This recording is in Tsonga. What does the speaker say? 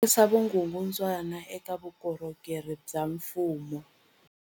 Herisa vukungundwani eka vukorhokeri bya mfumo.